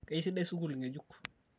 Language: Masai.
keisidai sukul ngejuk